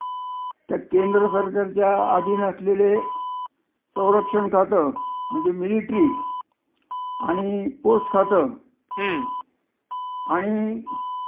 त्या केंद्रसरकारच्या आधीन असलेले सौरक्षण खात, म्हणजे मिलेटरी आणि पोस्ट खात, हं. आणि